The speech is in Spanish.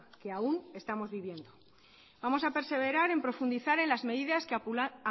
que aún estamos viviendo vamos a perseverar en profundizar en las medidas que